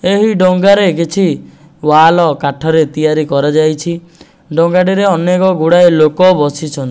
ଏହି ଡଙ୍ଗା ରେ କିଛି ୱାଲ କାଠ ରେ ତିଆରି କରା ଯାଇଛି ଡଙ୍ଗା ଟି ରେ ଅନେକ ଗୁଡ଼ାଏ ଲୋକ ବସିଛ --